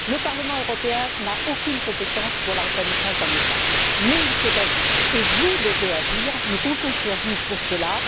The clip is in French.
Le Parlement européen n'a aucune compétence pour la reconnaissance d'un État, mais il faut agir et vous devez agir, nous comptons sur vous pour cela.